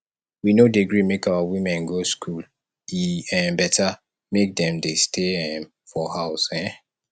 we no dey gree make our women go skool e um beta make dem dey stay um for house um